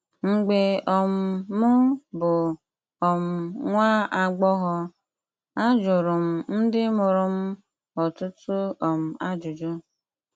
Mgbe um m bụ um nwa agbọghọ, ajụrụ m ndị mụrụ m ọtụtụ um ajụjụ.